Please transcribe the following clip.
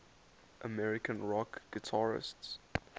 american rock guitarists